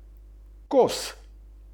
Vladajoča politika.